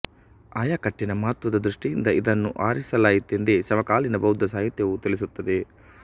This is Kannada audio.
ಆಯಕಟ್ಟಿನ ಮಹತ್ತ್ವದ ದೃಷ್ಟಿಯಿಂದ ಇದನ್ನು ಆರಿಸಲಾಯಿತೆಂದೇ ಸಮಕಾಲೀನ ಬೌದ್ಧ ಸಾಹಿತ್ಯವೂ ತಿಳಿಸುತ್ತದೆ